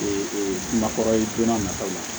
Ee nakɔ ye joona nataw la